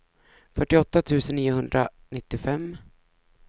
fyrtioåtta tusen niohundranittiofem